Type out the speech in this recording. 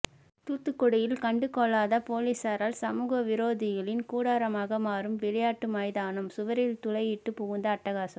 தூத்துக்குடியில் கண்டுகொள்ளாத போலீசாரால் சமூக விரோதிகளின் கூடாரமாக மாறும் விளையாட்டு மைதானம் சுவரில் துளையிட்டு புகுந்து அட்டகாசம்